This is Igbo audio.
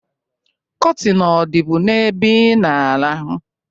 Kọtịn ọ dịbu n'ebe i na-arahụ?